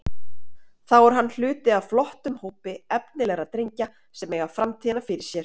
Þar er hann hluti af flottum hópi efnilegra drengja sem eiga framtíðina fyrir sér.